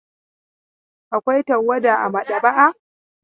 Akwai tawada a maɗaba'a.